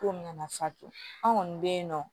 Kow nana fatu an kɔni be yen nɔ